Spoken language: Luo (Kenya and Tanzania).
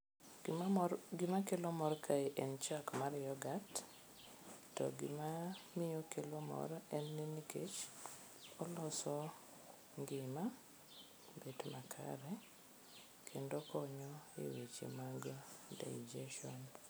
Gimakelo mor kae en chak mar yoghurt to gima miyo okelo mor en ni nkech oloso ngima bet makare kendo okonyo e weche mag digestion.